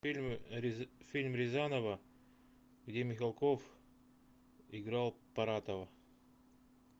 фильм рязанова где михалков играл паратова